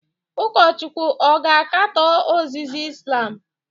Ụkọchukwu ọ ga-akatọ ozizi Islam?